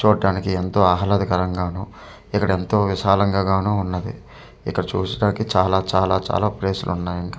చూట్టానికి ఎంతో ఆహాలదకరం గాను ఇక్కడ ఎంతో విశాలంగా గాను ఉన్నది ఇక్కడ చూసటానికి చాలా చాల చాల ప్లేస్ లు ఉన్నాయి ఇంకా.